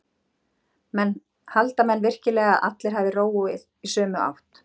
Halda menn virkilega að allir hafi róað í sömu átt?